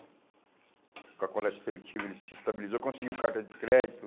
Com a coleta seletiva ele se estabilizou, conseguiu carta de crédito.